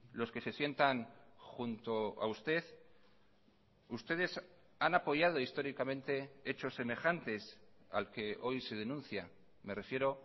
los que se sientan junto a usted ustedes han apoyado históricamente hechos semejantes al que hoy se denuncia me refiero